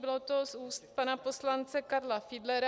Bylo to z úst pana poslance Karla Fiedlera.